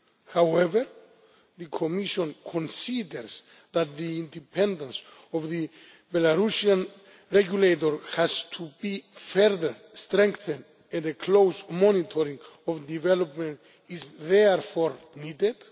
However, the Commission considers that the independence of the Belarusian regulator has to be further strengthened and a close monitoring of development is therefore needed.